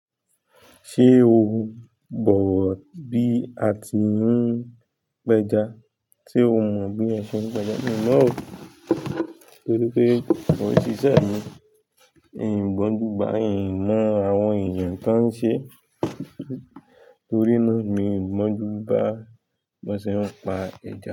Ṣé o bọ̀wọ̀ bí a ti ń péja? Sé o mọ bí a ṣe ń péja? Mi mọ̀ ọ́, torí pé mo n sìṣẹ̀ mi. Mi ò gbọ́njú bà, i mọ àwọn èèyàn tó ń ṣe, torí náà mi ò gbonju bà bó ṣe ń pa ẹja.